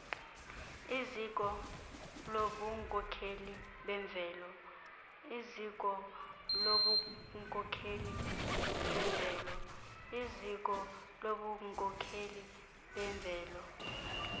iziko lobunkokheli bemveli